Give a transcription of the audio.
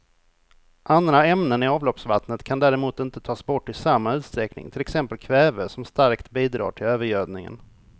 Andra ämnen i avloppsvattnet kan däremot inte tas bort i samma utsträckning, till exempel kväve som starkt bidrar till övergödningen.